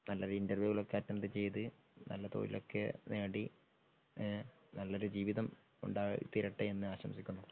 ഏതായാലും നല്ലൊരു ഇന്റർവ്യൂയൊക്കെ അറ്റൻറ്റ് ചെയ്തു നല്ല തൊഴിലൊക്കെ നേടി ഏ നല്ലൊരു ജീവിതം ഉണ്ടായിത്തീരട്ടെന്ന് ആശംസിക്കുന്നു.